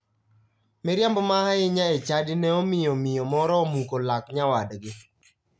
Miriambo ma ahinya e chadi ne omiyo miyo moro omuko lak nyawadgi.